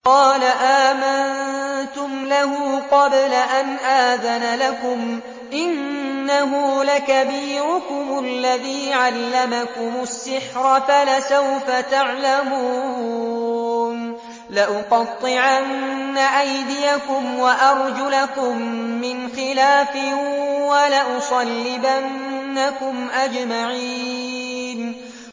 قَالَ آمَنتُمْ لَهُ قَبْلَ أَنْ آذَنَ لَكُمْ ۖ إِنَّهُ لَكَبِيرُكُمُ الَّذِي عَلَّمَكُمُ السِّحْرَ فَلَسَوْفَ تَعْلَمُونَ ۚ لَأُقَطِّعَنَّ أَيْدِيَكُمْ وَأَرْجُلَكُم مِّنْ خِلَافٍ وَلَأُصَلِّبَنَّكُمْ أَجْمَعِينَ